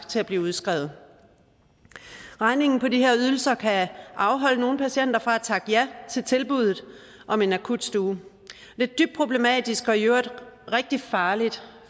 til at blive udskrevet regningen på de her ydelser kan afholde nogle patienter fra at takke ja til tilbuddet om en akutstue det er dybt problematisk og i øvrigt rigtig farligt